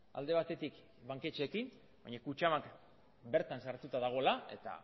alde batetik banketxeekin baina kutxabank bertan sartuta dagoela eta